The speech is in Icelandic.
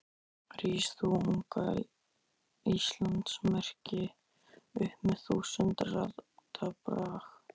Rís þú, unga Íslands merki, upp með þúsund radda brag.